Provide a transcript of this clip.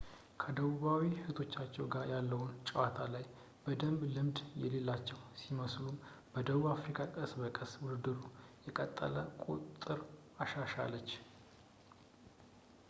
ከደቡባዊ እህቶቻቸው ጋር ያለው ጨዋታ ላይ በደንብ ልምድ የሌላቸው ቢመስሉም ደቡብ አፍሪካ ቀስ በቀስ ውድድሩ በቀጠለ ቁጥር አሻሻለች